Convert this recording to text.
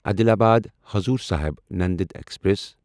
Adilabad Hazur Sahib Nanded express